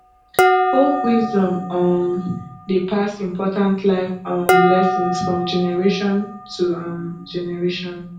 folk wisdom um dey pass important life um lessons from generation to um generation